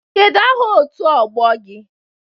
Kedụ aha otu ọgbọ gị?